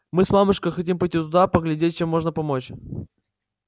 мы с мамушкой хотим пойти туда поглядеть чем можно помочь